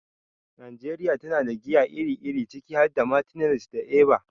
Najeriya tana da giya iri-iri, ciki har da Martineliss da Eva.